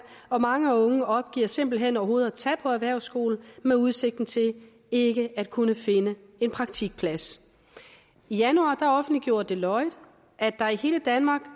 og mange unge opgiver simpelt hen overhovedet at tage på erhvervsskole med udsigten til ikke at kunne finde en praktikplads i januar offentliggjorde deloitte at der i hele danmark